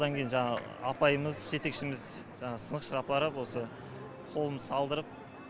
одан кейін жаңағы апайымыз жетекшіміз жаңағы сынықшыға апарып осы қолымды салдырып